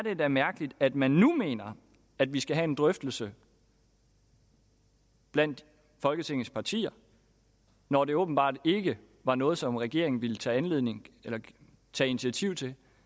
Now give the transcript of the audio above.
da mærkeligt at man nu mener at vi skal have en drøftelse blandt folketingets partier når det åbenbart ikke var noget som regeringen ville tage tage initiativ til